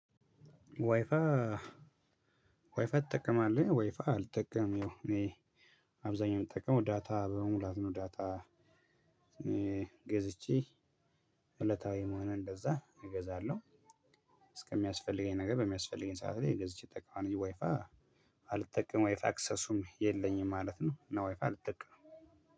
ዋይፋይ ዋይፋይ ትጠቀማለህ ዋይፋይ አልጠቀምም ያው እኔ አብዛኛውን የምጠቀመው ዳታ በመሙላት ነው ዳታ ገዝቼ እለታዊ ሆነ እንደዛ እገዛለሁ እስከሚያስፈልገኝ ነገር በሚያስፈልገኝ ሰዓት ላይ ገዝቼ እጠቀማለሁ እንጅ ዋይፋይ አልጠቀምም ወይፋይ አክሰሱም የለኝም ማለት ነው። እና ወይፋይ አልጠቀምም።